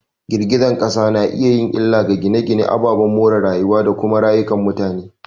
Girgizar kasa na iya yin illa ga gine-gine, ababen more rayuwa, da kuma rayukan mutane.